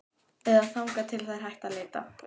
Eða þangað til þeir hætta að leita.